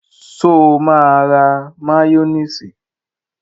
Sọ ma ra máyónísì?